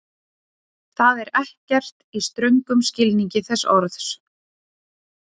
Það er ekkert, í ströngum skilningi þess orðs.